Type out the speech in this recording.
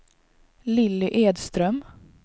Lilly Edström